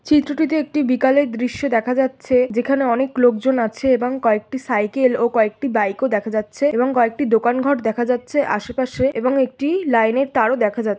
চিত্রটিতে একটি বিকালের দৃশ্য দেখা যাচ্ছে যেখানে অনেক লোকজন আছে এবং কয়েকটি সাইকেল ও কয়েকটি বাইক ও দেখা যাচ্ছে এবং কয়েকটি দোকান ঘর দেখা যাচ্ছে আশেপাশে । একটি লাইনের তারও দেখা যাচ্ছে।